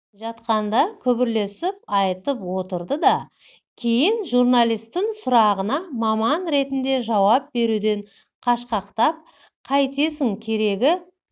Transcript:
жатқанда күбірлесіп айтып отырды да кейін журналистің сұрағына маман ретінде жауап беруден қашқақтап қайтесің керегі